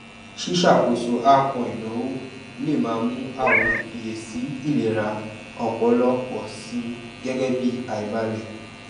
ṣíṣàkóso àápọn ìnáwó lè máa mú àwọn ìfiyesi ìlera ọpọlọ pọ sí i gẹgẹ bí àìbalẹ